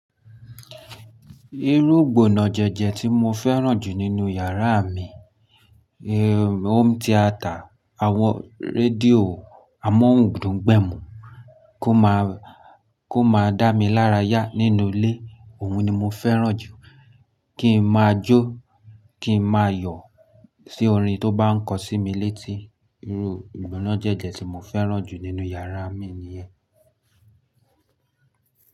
Irú ìgbónájẹjẹ tí mo fẹ́ràn jù nínú yàrá mi, home theatre, àwọn rédíò amóhun dun gbẹ̀mu kó máa, kó máa dá mi lára yá nínú ilé, òun ni mo fẹ́ràn jù. Kí n máa jó, kí n máa yọ̀ sí orin tó bá ń kọ sí mi létí. Irú ìgbónájẹjẹ tí mo fẹ́ràn jù nínú yàrá mi niyen.